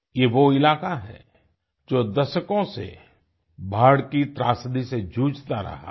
ये वो इलाका है जो दशकों से बाढ़ की त्रासदी से जूझता रहा है